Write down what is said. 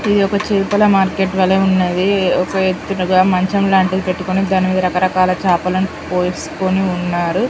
ఇది ఒక చేపల మార్కెట్ వలె ఉన్నది ఒక ఎత్తుగా మంచంలాంటిది పెట్టుకొని దానిమీద రకరకాల చేపలు పోసుకొని ఉన్నారు